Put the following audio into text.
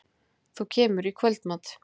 Þú kemur í kvöldmat?